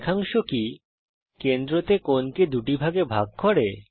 রেখাংশ কি কেন্দ্রতে কোণকে দুভাগে ভাগ করে